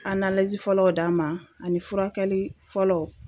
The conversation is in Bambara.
A fɔlɔw d'an ma ani furakɛli fɔlɔw.